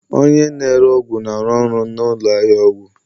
Onye na-ere ọgwụ na-arụ ọrụ na ụlọ ahịa ọgwụ